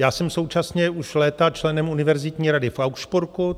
Já jsem současně už léta členem univerzitní rady v Augsburgu.